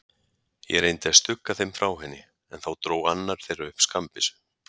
Ég reyndi að stugga þeim frá henni, en þá dró annar þeirra upp skammbyssu.